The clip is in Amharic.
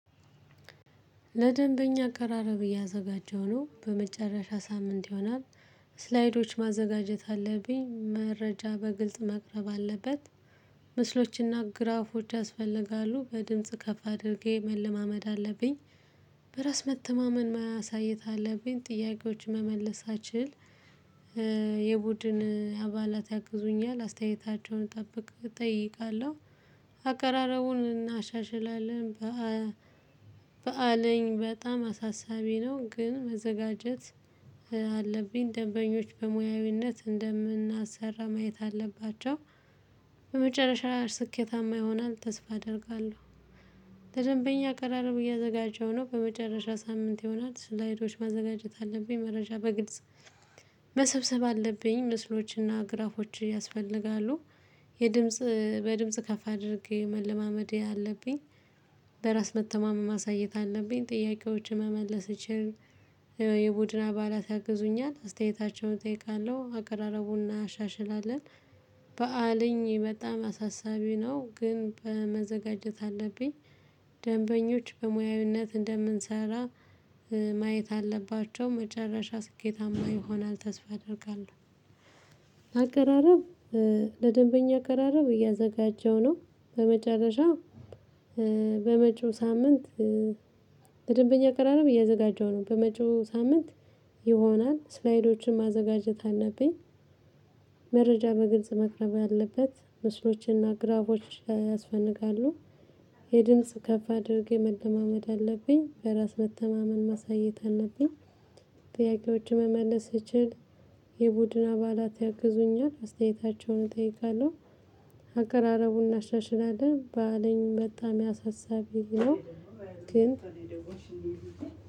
ለደንበኛ አቀራረብ እያዘጋጀሁ ነው በመጨረሻ ሳምንት ይሆናል። ስላይዶች ማዘጋጀት አለብኝ መረጃ በግልጽ መቅረብ አለበት። ምስሎችና ግራፎች ያስፈልጋሉ በድምጽ ከፍ አድርጌ መለማመድ አለብኝ። በራስ መተማመን ማሳያት አለብኝ ጥያቄዎችን መመለስ አችል። የቡድን አባላት ያግዙኛል አስተያየታቸውን እጠብቅ እጠይቃለሁ። አቀራረቡን እናሻሽላለን። በአለኝ በጣም አሳሳቢ ነው ግን መዘጋጀት አለብኝ። ደንበኞች በሙያዊነት እንደምናሰራ ማየት አለባቸው። በመጨረሻ ስኬታማ ይሆናል ተስፋ አደርጋለሁ። ለደንበኛ አቀራርብ እያዘጋጀሁ ነው በመጨረሻ ሳምንት ይሆናል። ስላይዶች ማዘጋጀት አለብኝ መረጃ በግልጽ መሰብሰብ አለብኝ። ምስሎችና ግራፎች ያስፈልጋሉ። የድምጽ በድምጽ ከፍ አድርጌ መለማመድ አለብኝ። በራስ መተማመን ማሳየት አለብኝ ጥያቄዎችን መመለስ እችል። የቡድን አባላት ያግዙኛል አስተያየታቸውን እጠይቃለሁ አቀራረቡን እናሻሽላለን። በአለኝ በጣም አሳሳቢ ነው ግን በመዘጋጀት አለብኝ። ደንበኞች በሙያዊነት እንደምንሰራ ማየት አለባቸው። መጨረሻ ስኬታማ ይሆናል ተስፋ አደርጋለሁ። አቀራረብ ለደንበኛ አቀራረብ እያዘጋጀው ነው። በመጨረሻ በመጪው ሳምንት። ደንበኛ አቀራረብ እያዘጋጀሁ ነው በመጪው ሳምንት ይሆናል። ስላይዶችን ማዘጋጀት አለብኝ። መረጃ በግልጽ መቅረብ አለበት። ምስሎችንና ግራዎችን ያስፈልጋሉ። የድምጽ ከፍ አድርጌ መለማመድ አለብኝ። በራስ መተማመን ማሳየት አለብኝ። ጥያቄዎችን መመለስ እችል። የቡድን አባላት ያግዙኛል አስተያየታቸውን እጠይቃለሁ። አቀራረቡን እናሻሽላለን ባለን በጣም ያሳሳቢ ነው። ግን